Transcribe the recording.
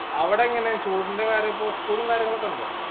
അവിടെങ്ങനെ ചൂടിന്റെകാര്യപ്പൊ school ളും കാര്യങ്ങളൊക്കെയുണ്ടോ